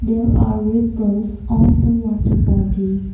there are ripples on the water body.